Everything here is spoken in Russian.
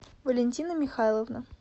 валентина михайловна